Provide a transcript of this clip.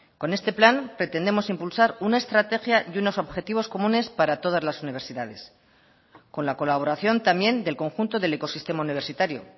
con este plan pretendemos impulsar una estrategia y unos objetivos comunes para todas las universidades con la colaboración también del conjunto del ecosistema universitario